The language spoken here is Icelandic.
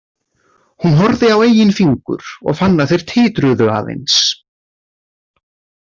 Hún horfði á eigin fingur og fann að þeir titruðu aðeins.